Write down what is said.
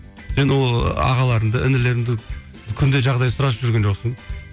енді ол ағаларыңды інілеріңді күнде жағдай сұрасып жүрген жоқсың